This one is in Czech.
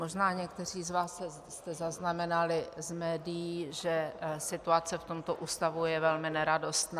Možná někteří z vás jste zaznamenali z médií, že situace v tomto ústavu je velmi neradostná.